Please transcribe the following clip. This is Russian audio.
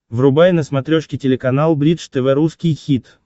врубай на смотрешке телеканал бридж тв русский хит